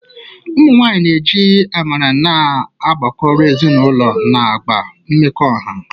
Ụmụ nwanyị na-eji amara na-agbakọ ọrụ, ezinụlọ na agụụ mmekọahụ.